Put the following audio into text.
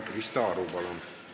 Krista Aru, palun!